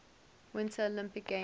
winter olympic games